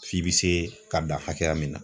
F'i bɛ se ka dan hakɛya min na.